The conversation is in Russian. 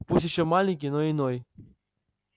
пусть ещё маленький но иной